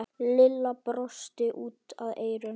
Lilla brosti út að eyrum.